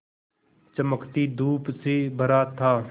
चमकती धूप से भरा था